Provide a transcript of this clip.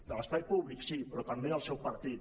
de l’espai públic sí però també del seu partit